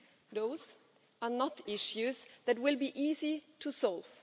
Those are not issues that will be easy to solve.